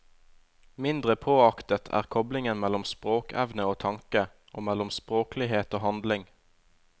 Mindre påaktet er koplingen mellom språkevne og tanke, og mellom språklighet og handling.